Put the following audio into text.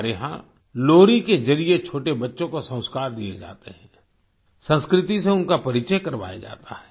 हमारे यहाँ लोरी के जरिए छोटे बच्चों को संस्कार दिए जाते हैं संस्कृति से उनका परिचय करवाया जाता है